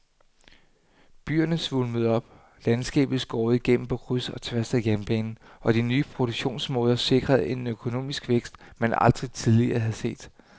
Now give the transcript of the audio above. Byerne svulmede op, landskabet skåret igennem på kryds og tværs af jernbanen og de nye produktionsmåder sikrede en økonomisk vækst, man aldrig tidligere havde set.